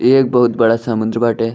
ये एक बहुत बड़ा समुन्द्र बाटे।